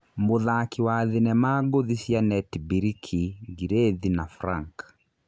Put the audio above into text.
Mũthaki wa thinema ngũthi cia Netibiriki Ngirĩthi na Frank.